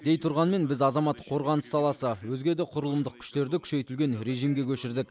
дей тұрғанмен біз азаматтық қорғаныс саласы өзге де құрылымдық күштерді күшейтілген режимге көшірдік